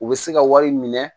U bɛ se ka wari minɛ